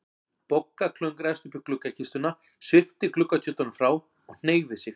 Bogga klöngraðist upp í gluggakistuna, svipti gluggatjöldunum frá og hneigði sig.